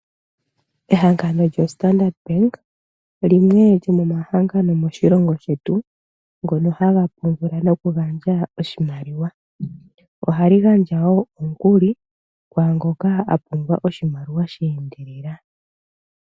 Ehangano loStandard Bank olyo limwe lomomahangano moshilongo shetu ngono haga pungula nokugandja oshimaliwa. Ohali gandja wo omukuli kwaangoka a pumbwa oshimaliwa sha endelela.